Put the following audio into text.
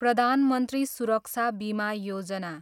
प्रधान मन्त्री सुरक्षा बीमा योजना